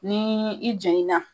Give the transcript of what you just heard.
Ni i jeni na